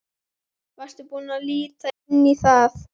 Varstu búinn að líta inn í það?